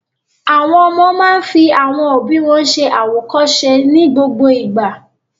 Àwọn máa fi àwọn òbí wọn ṣẹ àwòkọ́ṣe ní gbogbo ìgbà.